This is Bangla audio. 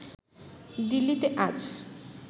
দিল্লিতে আজ